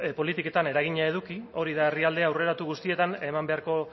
politiketan eragina eduki hori da herrialde aurreratu guztietan eman beharko